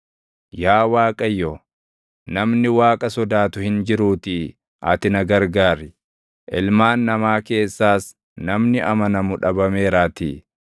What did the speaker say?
Yaa Waaqayyo, namni Waaqa sodaatu hin jiruutii ati na gargaar; ilmaan namaa keessaas namni amanamu dhabameeraatii.